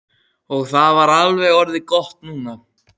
Og það er alveg orðið gott núna.